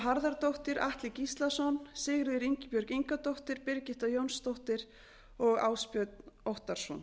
harðardóttir atli gíslason sigríður ingibjörg ingadóttir birgitta jónsdóttir og ásbjörn óttarsson